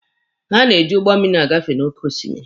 Ha na-eji ụgbọ mmịrị agafe n'oke osimiri.